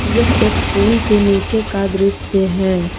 यह एक पूल के नीचे का दृश्य है।